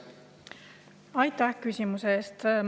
Aitäh küsimuse eest!